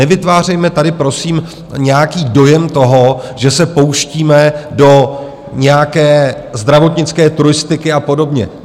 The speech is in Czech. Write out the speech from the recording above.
Nevytvářejme tady, prosím, nějaký dojem toho, že se pouštíme do nějaké zdravotnické turistiky a podobně.